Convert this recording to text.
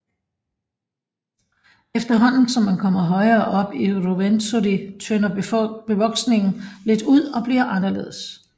Efterhånden som man kommer højere op i Ruwenzori tynder bevoksningen lidt ud og bliver anderledes